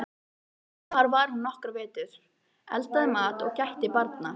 Þar var hún nokkra vetur, eldaði mat og gætti barna.